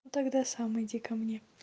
ну тогда сам иди ко мне